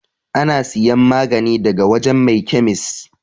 Ana siyan magani ne daga wajan mai kyamis